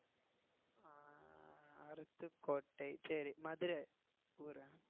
அருப்புக்கோட்டை சரி மதுரை ஊரா